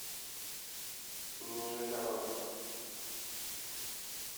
нижегородец